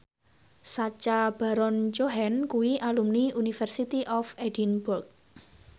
Sacha Baron Cohen kuwi alumni University of Edinburgh